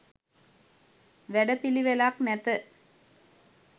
වැඩ පිළිවෙලක් නැත